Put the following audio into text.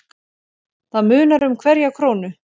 Það munar um hverja krónu.